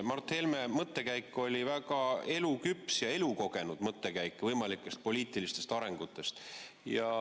Mart Helme mõttekäik võimalikest poliitilistest arengusuundadest oli väga eluküps ja elukogenud.